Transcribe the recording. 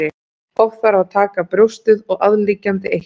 Oft þarf að taka brjóstið og aðliggjandi eitla.